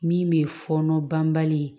Min bɛ fɔɔnɔ banbali